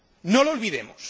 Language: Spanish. No lo olvidemos.